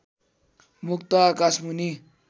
मुक्त आकाशमुनि